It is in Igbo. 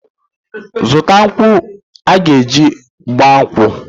Zụta nkwụ aga-eji gba nkwụ!